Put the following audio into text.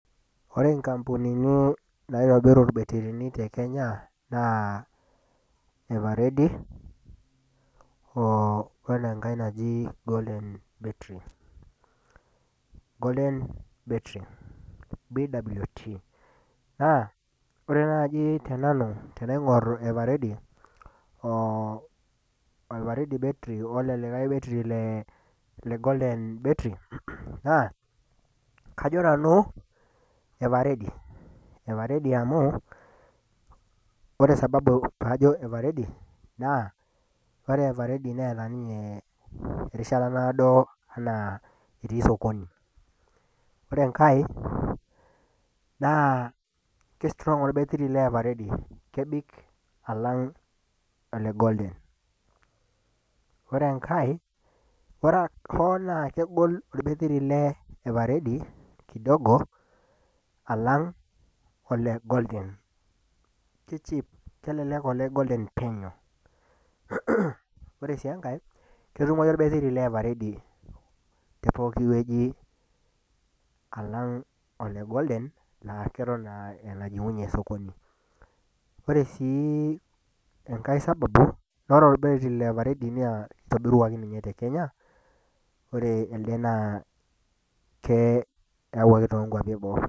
Ore nkampunini naitobiru irbetirni tekenya naa EverReady oo enankae naji golden battery . Golden battery BWT naa ore naaji tenanu tenaingor everready , everready battery oo olelikae batttery legolden battery naa kajo nanu everready , everready amu ore sababu najo nanu everready naa ore everready neeta ninye erishata naado enaa etii sokoni , ore enkae naa kistrong orbettery leeverready kebik alang olegolden . Ore enkae ore hoo naa kegol orbattery leeverready kidogo alang olegolden , kicheap, kelelek oleng golden penyo . Ore sii enkae , ketumoyu orbattery leeverready tepooki wueji alang olegolden aaketon aa enajingunyie sokoni ,ore sii enkae sababu noo ore ebattery leeverready naa kitobiruaki ninye tekenya ore elede naa kee kiawuaki toonkuapi eboo.